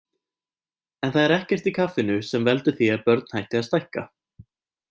En það er ekkert í kaffinu sem veldur því að börn hætti að stækka.